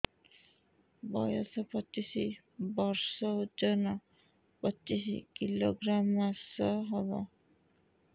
ବୟସ ପଚିଶ ବର୍ଷ ଓଜନ ପଚିଶ କିଲୋଗ୍ରାମସ ହବ